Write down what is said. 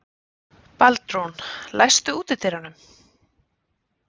Baldrún, læstu útidyrunum.